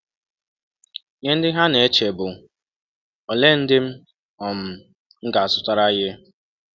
Ihe ndị ha na - eche bụ: ‘ Ọlee ndị m um ga - azụtara ihe?